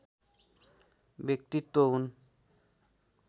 व्यक्तित्व हुन्